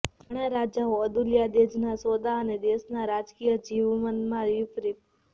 ઘણા રાજાઓ અદુલ્યાદેજના સોદા અને દેશના રાજકીય જીવનમાં વિપરીત